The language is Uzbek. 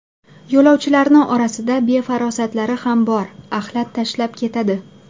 Yo‘lovchilarni orasida befarosatlari ham bor, axlat tashlab ketadi.